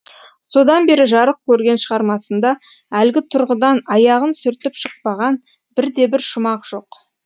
содан бері жарық көрген шығармасында әлгі тұрғыдан аяғын сүртіп шықпаған бірде бір шумақ жоқ